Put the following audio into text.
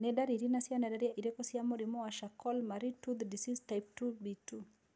Nĩ dariri na cionereria irĩkũ cia mũrimũ wa Charcot Marie Tooth disease type 2B2?